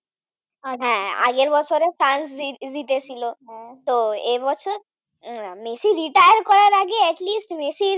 হ্যাঁ আগের বছরে ফ্রান্স জিতেছিল তো, হ্যাঁ, এ বছর মেসি Retire করার আগে Atleast মেসির